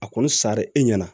A kɔni sari e ɲɛna